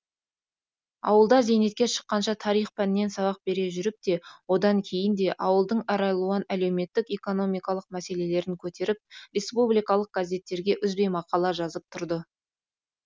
ауылда зейнетке шыққанша тарих пәнінен сабақ бере жүріп те одан кейін де ауылдың әралуан әлеуметтік экономикалық мәселелерін көтеріп республикалық газеттерге үзбей мақала жазып тұрды